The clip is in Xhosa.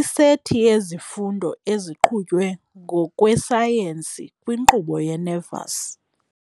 isethi yezifundo eziqhutywe ngokwesayensi kwinkqubo ye-nervous.